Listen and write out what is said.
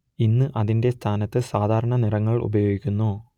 ഇന്ന് അതിന്റെ സ്ഥാനത്ത് സാധാരണ നിറങ്ങൾ ഉപയോഗിക്കുന്നു